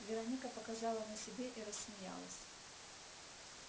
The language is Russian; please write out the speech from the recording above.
вероника показала на себе и рассмеялась